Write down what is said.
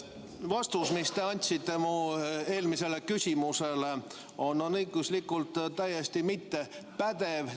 Vastus, mille te andsite mu eelmisele küsimusele, on õiguslikult täiesti mittepädev.